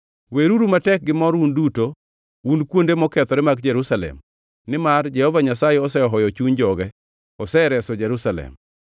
Weruru matek gimor un duto, un kuonde mokethore mag Jerusalem, nimar Jehova Nyasaye osehoyo chuny joge, osereso Jerusalem.